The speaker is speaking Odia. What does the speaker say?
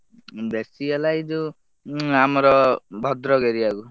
ବେଶୀ ହେଲା ଏ ଜଉ ଉ ଚୁ ଆମର ଭଦ୍ରକ area କୁ।